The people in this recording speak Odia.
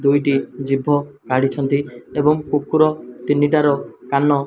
ଦୁଇଟି ଜିଭ କାଢ଼ିଛନ୍ତି ଏବଂ କୁକୁର ତିନିଟାର କାନ --